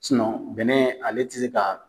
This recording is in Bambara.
bɛnɛ ale tɛ se ka